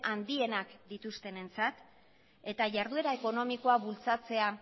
handienak dituztenentzat eta jarduera ekonomikoa bultzatzea